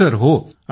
होहो